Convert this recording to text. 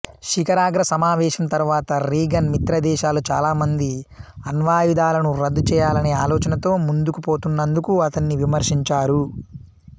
శిఖరాగ్ర సమావేశం తరువాత రీగన్ మిత్రదేశాలు చాలా మంది అణ్వాయుధాలను రద్దు చేయాలనే ఆలోచనతో ముందుకు పోతున్నందుకు అతణ్ణి విమర్శించారు